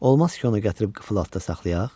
Olmaz ki, onu gətirib qıfıl altında saxlayaq?